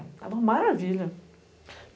Era uma maravilha.